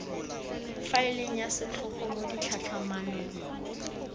faeleng ya setlhogo mo ditlhatlhamanong